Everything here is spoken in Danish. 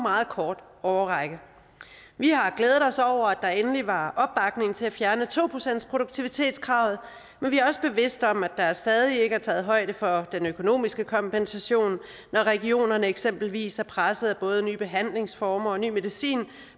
meget kort årrække vi har glædet os over at der endelig var opbakning til at fjerne to procentsproduktivitetskravet men vi er også bevidste om at der stadig ikke er taget højde for den økonomiske kompensation når regionerne eksempelvis er presset af både nye behandlingsformer og ny medicin